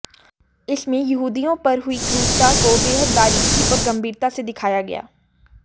इसमें यहूदियों पर हुई क्रूरता को बेहद बारीकी और गंभीरता से दिखाया गया